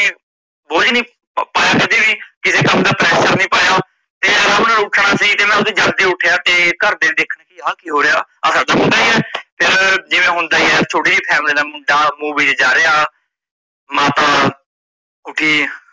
ਕਿਸੇ ਕੰਮ ਦਾ pressure ਨਹੀਂ ਪਾਇਆ ਤੇ ਮੈ ਆਰਾਮ ਨਾਲ ਉਠਣਾ ਸੀ ਤੇ ਮੈ ਆਪਣਾ ਜਲਦੀ ਉੱਠਿਆ ਤੇ ਘਰ ਦਿਆ ਦੇਖਿਆ ਆ ਕੀ ਹੋ ਰੀਆ ਆ ਸਾਡਾ ਮੁੰਡਾ ਹੀ ਏ ਫਿਰ ਜਿਵੇਂ ਹੁੰਦਾ ਹੀ ਆ ਥੋੜਾ family ਦਾ ਮੋਹ ਜੀਆ ਜਾਦਾ ਆ, ਮਾਤਾ ਉਠੀ